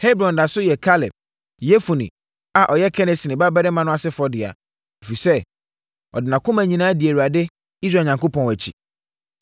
Hebron da so yɛ Kaleb, Yefune a ɔyɛ Kenesini babarima no asefoɔ dea, ɛfiri sɛ ɔde nʼakoma nyinaa dii Awurade Israel Onyankopɔn akyi.